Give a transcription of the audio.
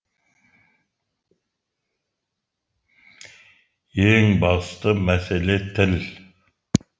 ең басты мәселе тіл